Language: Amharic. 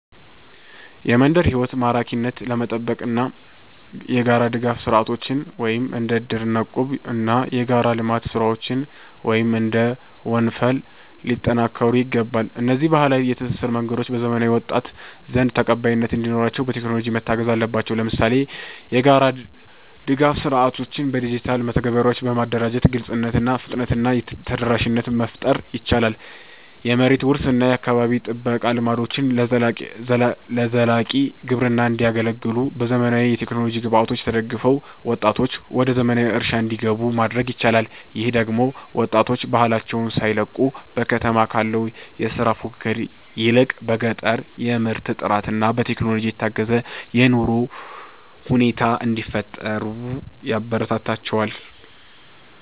የመንደር ሕይወት ማራኪነትን ለመጠበቅ የጋራ ድጋፍ ሥርዓቶች (እንደ እድርና እቁብ) እና የጋራ የልማት ሥራዎች (እንደ ወንፈል) ሊጠናከሩ ይገባል። እነዚህ ባህላዊ የትስስር መንገዶች በዘመናዊው ወጣት ዘንድ ተቀባይነት እንዲኖራቸው፣ በቴክኖሎጂ መታገዝ አለባቸው። ለምሳሌ፣ የጋራ ድጋፍ ሥርዓቶችን በዲጂታል መተግበሪያዎች በማደራጀት ግልጽነትን፣ ፍጥነትን እና ተደራሽነትን መፍጠር ይቻላል። የመሬት ውርስ እና የአካባቢ ጥበቃ ልምዶችም ለዘላቂ ግብርና እንዲያገለግሉ፣ በዘመናዊ የቴክኖሎጂ ግብዓቶች ተደግፈው ወጣቶች ወደ ዘመናዊ እርሻ እንዲገቡ ማድረግ ይቻላል። ይህ ደግሞ ወጣቶች ባህላቸውን ሳይለቁ፣ በከተማ ካለው የሥራ ፉክክር ይልቅ በገጠር የምርት ጥራትና በቴክኖሎጂ የታገዘ የኑሮ ሁኔታ እንዲፈጥሩ ያበረታታቸዋል